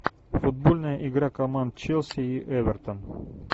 футбольная игра команд челси и эвертон